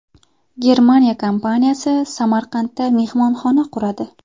Germaniya kompaniyasi Samarqandda mehmonxona quradi.